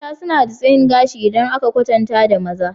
Mata suna da tsayin gashi idan aka kwatanta da maza